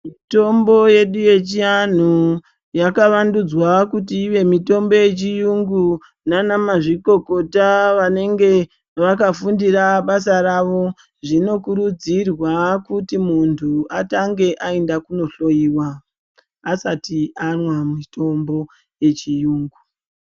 Mitombo yedu yechiyanhu, yakavandudzva kuti ivemitombo yechiyungu nanamazvikokota vanenge vakafundira basa ravo. Zvinokurudzirwa kuti muntu atange ayinda kunohloyiwa, asati anwa mitombo yechiyungu.